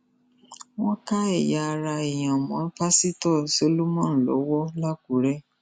wọn ká ẹyà ara èèyàn mọ pásítọ solomon lọwọ lákùrẹ